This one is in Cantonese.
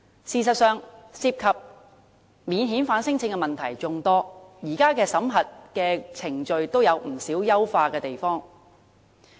事實上，涉及免遣返聲請的問題眾多，現時的審核程序也有不少需要優化的地方。